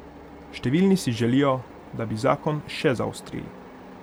Številni si želijo, da bi zakon še zaostrili.